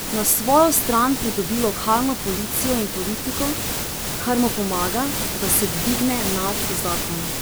Na svojo stran pridobi lokalno policijo in politiko, kar mu pomaga, da se dvigne nad zakon.